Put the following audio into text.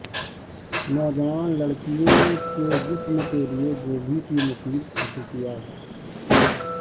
نوجوان لڑکیوں کے جسم کے لئے گوبھی کی مفید خصوصیات